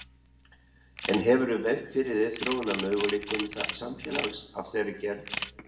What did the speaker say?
En hefurðu velt fyrir þér þróunarmöguleikum samfélags af þeirri gerð?